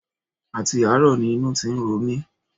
Àti àárọ̀ ni inú ti ń ro mi